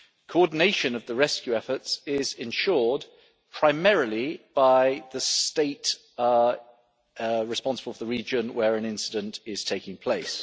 Coordination of the rescue efforts is ensured primarily by the state responsible for the region where an incident is taking place.